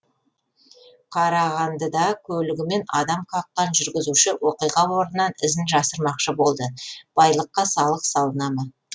қарағандыда көлігімен адам қаққан жүргізуші оқиға орнынан ізін жасырмақшы болды байлыққа салық салына ма